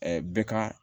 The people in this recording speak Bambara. bɛ ka